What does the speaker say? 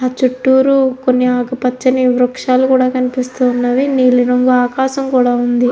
ఆ చుట్టూరు కొన్ని ఆకుపచ్చని వృక్షాలు కూడా కనిపిస్తున్నవి. నీలి రంగు ఆకాశం కూడా ఉంది.